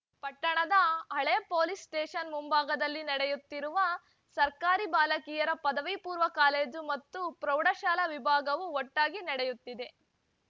ಪಟ್ಟಣದ ಹಳೇ police station ಮುಂಭಾಗದಲ್ಲಿ ನಡೆಯುತ್ತಿರುವ ಸರ್ಕಾರಿ ಬಾಲಕಿಯರ ಪದವಿಪೂರ್ವ ಕಾಲೇಜು ಮತ್ತು ಪ್ರೌಢಶಾಲಾ ವಿಭಾಗವು ಒಟ್ಟಾಗಿ ನಡೆಯುತ್ತಿದೆ